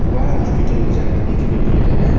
वेह हॉस्पिटल में जाके देखबेलिए रहे।